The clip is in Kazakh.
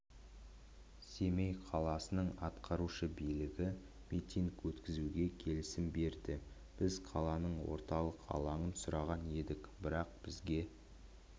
семей қаласының атқарушы билігі митинг өткізуге келісім берді біз қаланың орталық алаңын сұраған едік бірақ бізге